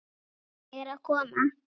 Ég er að koma.